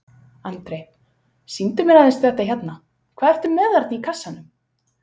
Andri: Sýndu mér aðeins þetta hérna, hvað ertu með þarna í kassanum?